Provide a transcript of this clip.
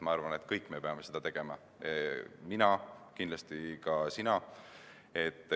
Ma arvan, et me kõik peame seda tegema – pean mina ja pead kindlasti ka sina.